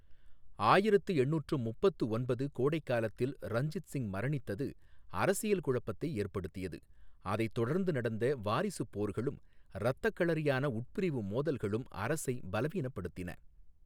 ஆயிரத்து எண்ணூற்று முப்பத்து ஒன்பது கோடை காலத்தில் ரஞ்சித் சிங் மரணித்தது அரசியல் குழப்பத்தை ஏற்படுத்தியது, அதைத் தொடர்ந்து நடந்த வாரிசுப் போர்களும் இரத்தக்களரியான உட்பிரிவு மோதல்களும் அரசை பலவீனப்படுத்தின.